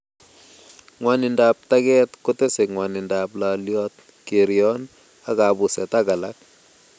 Ng'wanindop tag'et kotesei ng'wanindop lalaliot, kerion, ak kabuset ak alak